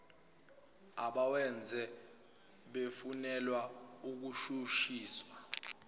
abawenzile befunelwa ukushushiswa